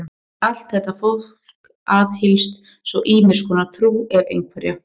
Allt þetta fólk aðhyllist svo ýmiss konar trú, ef einhverja.